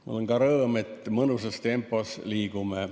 Mul on ka rõõm, et me mõnusas tempos liigume.